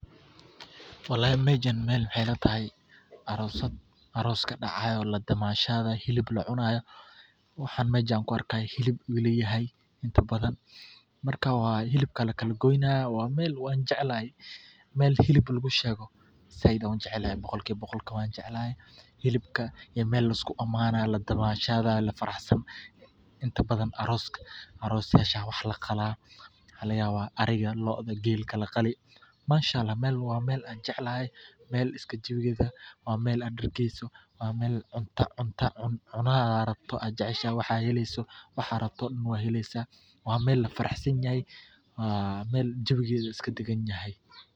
Walahi mejan maxay ilatahay mel aros kadacayo ladamashadayo hilib lacunayo, waxan mejan kuuarkayo hilib ayu ilayahay intabadhan marka hibka lakala goynah waa mel wanjeclahay, mel hilib lagushego wanjeclahay sayid ayan ujeclahay, boqolkiwa boqol wanjeclahay hilbka mel liskugu amanayo ladamashadayo lafaxsan inta badhan, arosyasha aya wax laqalaa waxa lagayaba ariga lo'oda gelka laqali manshaallah waa mel aan jeclahay mel iskajiwigeda waa mel aad dergeyso waa meel cunto cunaa ad jeceshahay waxa heleso waxad rabto daan nah wad helesa waa mel lafaraxsanyahay waa mel jawigeda iskadaganyahay.